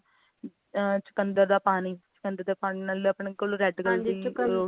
ਅ ਚੁਕੰਦਰ ਦਾ ਪਾਣੀ ਚੁਕੰਦਰ ਦੇ ਪਾਣੀ ਨਾਲ ਨਾਲੇ ਆਪਣੇ ਕੋਲ red color ਦੀ ਔ